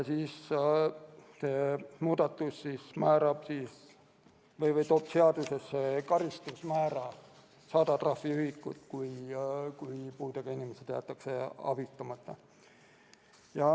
See muudatus toob seadusesse karistusmäära 100 trahviühikut, kui puudega inimesed jäetakse abistamata.